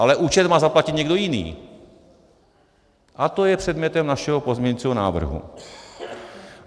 Ale účet má zaplatit někdo jiný - a to je předmětem našeho pozměňovacího návrhu.